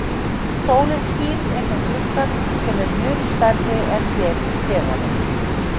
Sólin skín inn um gluggann sem er mun stærri en hér í klefanum.